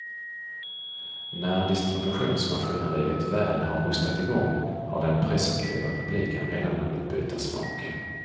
När distributionsmaskineriet väl har hostat i gång har den presumtiva publiken redan hunnit byta smak.